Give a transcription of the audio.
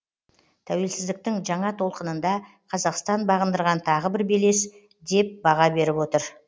тәуелсіздіктің жаңа толқынында қазақстан бағындырған тағы бір белес деп баға беріп отыр